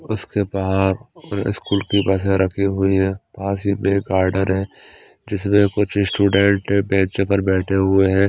उसके बाहर स्कूल की बसें रखी हुई हैं पास ही में गार्डन है जिसमें कुछ स्टूडेंट बेंच पर बैठे हुए हैं।